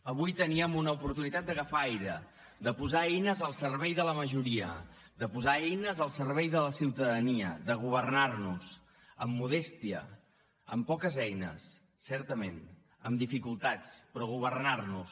avui teníem una oportunitat d’agafar aire de posar eines al servei de la majoria de posar eines al servei de la ciutadania de governar nos amb modèstia amb poques eines certament amb dificultats però governar nos